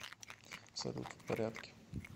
салют в порядке